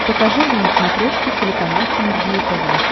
покажи мне на смотрешке телеканал синергия тв